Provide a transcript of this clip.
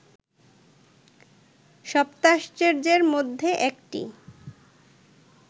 সপ্তাশ্চর্যের মধ্যে একটি